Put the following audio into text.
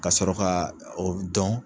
Ka sɔrɔ ka o dɔn.